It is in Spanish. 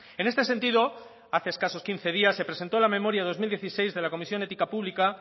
en este sentido hace escasos quince días se presentó la memoria dos mil dieciséis de la comisión ética pública